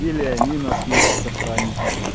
или они нас вместе с охранником